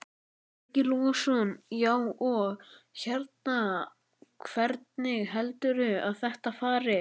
Breki Logason: Já, og hérna, hvernig heldurðu að þetta fari?